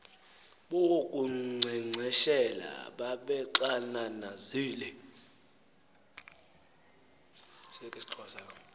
bo kunkcenkceshela babexananazile